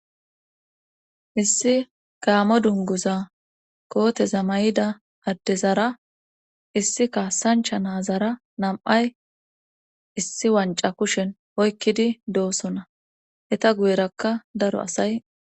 issi gaammo dunguza kooteza may'ida addezara issi kaassancha nazara nam'ay issi wanca kushen oykkidi doosona etta guyerakka daro asay